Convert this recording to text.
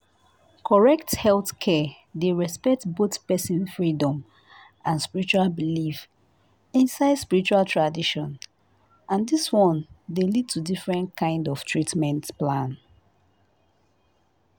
correct healthcare dey respect both person freedom and spiritual belief inside spiritual tradition and this one dey lead to different kind of treatment plan